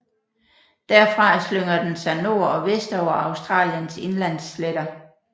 Derfra slynger den sig nord og vest over Australiens indlandssletter